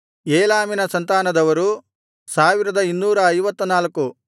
ಏಲಾಮಿನ ಸಂತಾನದವರು 1254